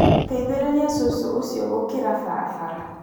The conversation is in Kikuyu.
Teithĩrĩria cũcũ ũcio gũkira barabara